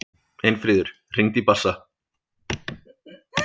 Einfríður, hringdu í Bassa.